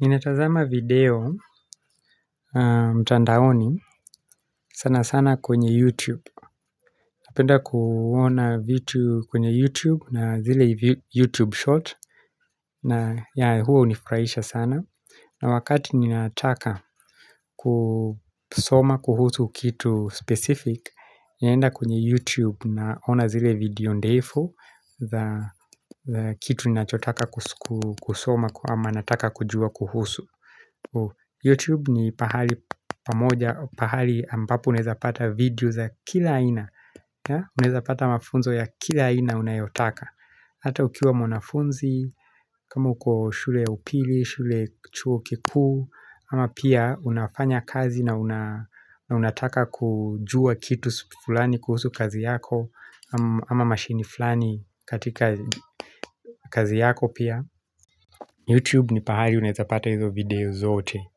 Ninatazama video mtandaoni sana sana kwenye YouTube Napenda kuona vitu kwenye YouTube na zile YouTube short na hunifurahisha sana na wakati ninataka kusoma kuhusu kitu specific Ninaenda kwenye YouTube naona zile video ndefu za Kitu ninachotaka kusoma ama nataka kujua kuhusu Youtube ni pahali pamoja, pahali ambapo unaeza pata video za kila aina Unaeza pata mafunzo ya kila aina unayotaka Hata ukiwa mwanafunzi, kama uko shule upili, shule chuo kikuu Ama pia unafanya kazi na unataka kujua kitu fulani kuhusu kazi yako Ama mashini fulani katika kazi yako pia Youtube ni pahali unaeza pata hizo video zote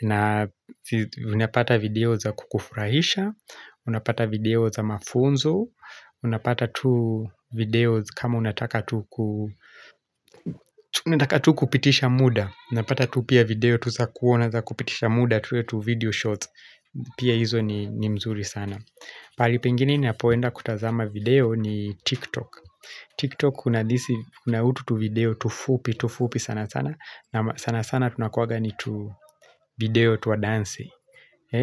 na unapata video za kukufurahisha Unapata video za mafunzo Unapata tu videos kama unataka tu unataka tu kupitisha muda Unapata tu pia video tu za kuona za kupitisha muda tule tuvideo shots Pia hizo ni mzuri sana pahali pengini ninapoenda kutazama video ni TikTok TikTok kuna utu tu video tufupi tufupi sana sana sana sana tunakuwanga ni tu video twa dansi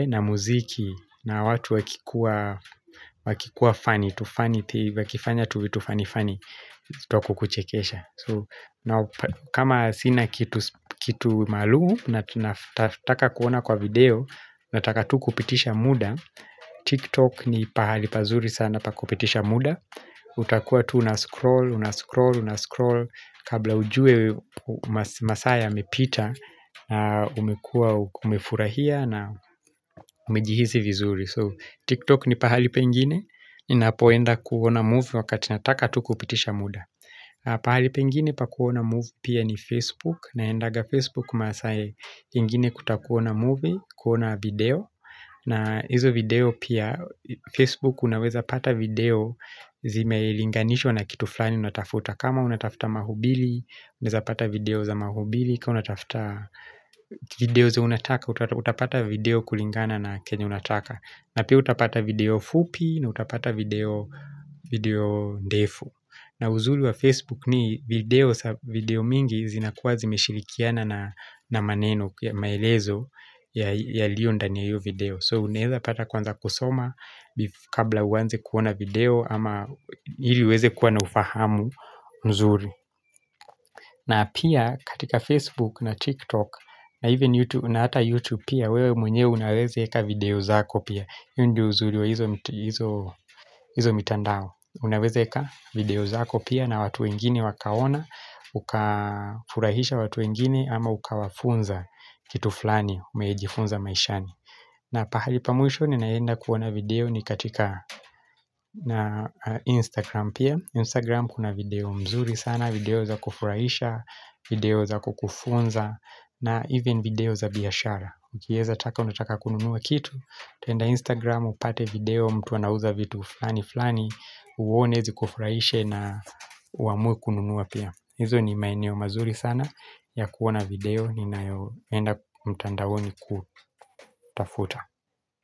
na muziki na watu wakikuwa Wakikuwa funny wakifanya tuvitu funny funny Twa kukuchekesha kama sina kitu Kitu maalum nataka kuona kwa video Nataka tu kupitisha muda TikTok ni pahali pazuri sana pa kupitisha muda utakuwa tu unascroll Unascroll unascroll Kabla ujue masaa yamepita na umekuwa umefurahia na umejihisi vizuri So TikTok ni pahali pengine ninapoenda kuona movie Wakati nataka tu kupitisha muda pahali pengine pa kuona move Pia ni Facebook Naendaga Facebook masaa ingine kutaka kuona movie kuona video na hizo video pia Facebook unaweza pata video Zime linganishwa na kitu flani Unatafuta kama unatafuta mahubili Unaeza pata video za mahubili Kwa unatafuta video za unataka Utapata video kulingana na kenye unataka na pia utapata video fupi na utapata video video ndefu na uzuri wa Facebook ni video video mingi zinakuwa zime shirikiana na maneno maelezo yalio ndani ya hiyo video So unaeza pata kwanza kusoma Kabla uwanze kuona video Ama hili uweze kuwa na ufahamu nzuri na pia katika Facebook na TikTok na even YouTube na hata YouTube pia wewe mwenyewe unaweze eka video zako pia hiyo ndio uzuri wa hizo mitandao Unaweze eka video zako pia na watu wengine wakaona Ukafurahisha watu wengine ama ukawafunza kitu fulani umejifunza maishani na pahali pa mwisho ninaenda kuona video ni katika Instagram pia Instagram kuna video mzuri sana video za kufurahisha video za kukufunza na even video za biashara Ukieza taka unataka kununuwa kitu utaenda Instagram upate video mtu anauza vitu flani flani Uwone zikufuraishe na uamuwe kununua pia Izo ni maeneo mazuri sana ya kuona video Ninayoenda mtandaoni kutafuta.